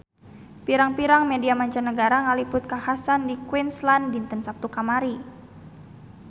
Pirang-pirang media mancanagara ngaliput kakhasan di Queensland dinten Saptu kamari